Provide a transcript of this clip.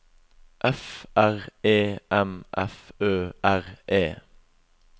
F R E M F Ø R E